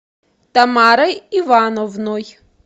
тамарой ивановной